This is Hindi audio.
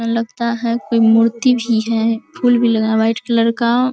लगता है कोई मूर्ति भी है फूल भी लगा हुआ है व्हाइट कलर का।